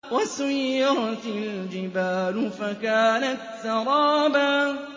وَسُيِّرَتِ الْجِبَالُ فَكَانَتْ سَرَابًا